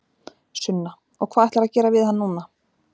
Sunna: Og hvað ætlarðu að gera við hann núna?